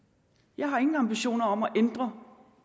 jeg har ingen ambitioner om at ændre